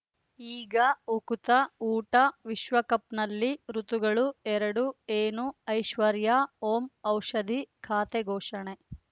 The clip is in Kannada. ಈಗ ಉಕುತ ಊಟ ವಿಶ್ವಕಪ್‌ನಲ್ಲಿ ಋತುಗಳು ಎರಡು ಏನು ಐಶ್ವರ್ಯಾ ಓಂ ಔಷಧಿ ಖಾತೆ ಘೋಷಣೆ